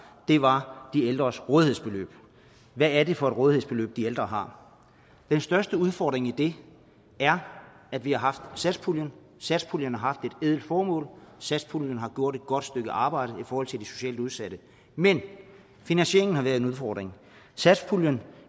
var de ældres rådighedsbeløb hvad er det for et rådighedsbeløb de ældre har den største udfordring i det er at vi har satspuljen satspuljen har haft et ædelt formål satspuljen har gjort et godt stykke arbejde i forhold til de socialt udsatte men finansieringen har været en udfordring satspuljen